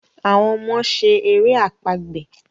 awọn ọmọ ṣe èrè àpagbè.